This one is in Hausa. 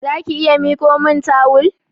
Zaki iya mikomin tawul?